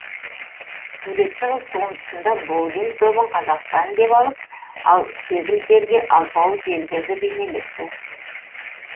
суретші қыз туындысында боулинг добын қазақстан деп алып ал кеглдерге алпауыт елдерді бейнелепті